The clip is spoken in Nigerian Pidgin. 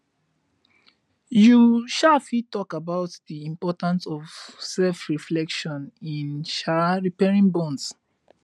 you um fit talk about di importance of selfreflection in um repairing bonds